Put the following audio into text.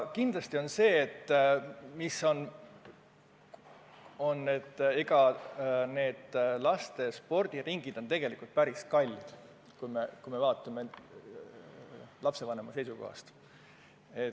Kindlasti on laste spordiringid tegelikult päris kallid, kui me lapsevanema seisukohast vaatame.